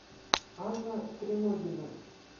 анна треногина